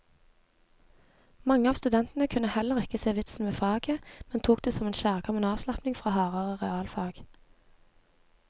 Mange av studentene kunne heller ikke se vitsen med faget, men tok det som en kjærkommen avslapning fra hardere realfag.